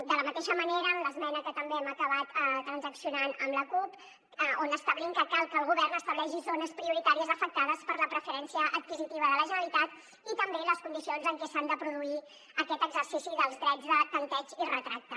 de la mateixa manera en l’esmena que també hem acabat transaccionant amb la cup on establim que cal que el govern estableixi zones prioritàries afectades per la preferència adquisitiva de la generalitat i també les condicions en què s’ha de produir aquest exercici dels drets de tanteig i retracte